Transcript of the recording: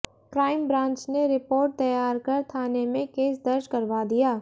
crime branch ने report तैयार कर थाने में केस दर्ज करवा दिया